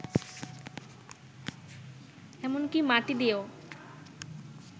এমনকি মাটি দিয়েও